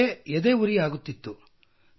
ನನಗೆ ಎದೆಯುರಿಯಾಗುತ್ತಿತ್ತು